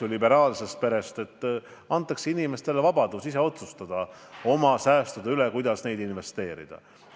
Liberaalne suhtumine on, et antakse inimestele vabadus ise otsustada oma säästude üle, kuidas neid investeerida.